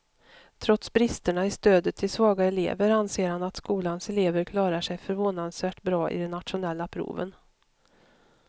Trots bristerna i stödet till svaga elever anser han att skolans elever klarar sig förvånansvärt bra i de nationella proven.